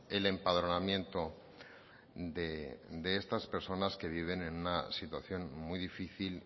el empadronamiento de estas personas que viven en una situación muy difícil